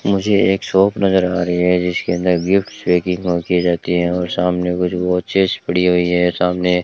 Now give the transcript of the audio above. मुझे एक शॉप नजर आ रही है जिसके अंदर गिफ्ट पैकिंग और की जाती है और सामने कुछ वॉचेस पड़ी हुई है सामने --